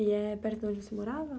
E é perto de onde você morava?